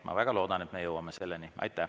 Ma väga loodan, et me jõuame selleni.